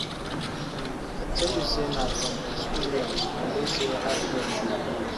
I tell you sey na from my experience I know sey hard work dey pay.